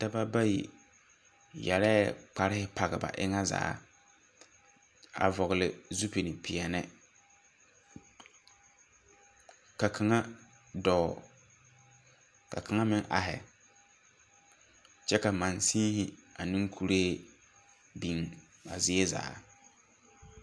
Daba bayi yɛrrɛɛ kparrehi page ba enga zaa a vɔgle zupilpeɛɛni ka kaŋa dɔɔ ka kaŋa meŋ ahi kyɛ ka mangsenhi neŋ kuree biŋ a zie zaa.